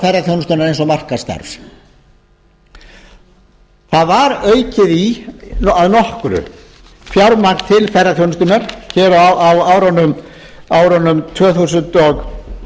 ferðaþjónustunnar eins og markaðsstarfs það var aukið í að nokkru fjármagn til ferðaþjónustunnar hér á árunum tvö þúsund